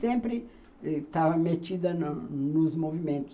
Sempre estava metida nos nos movimentos.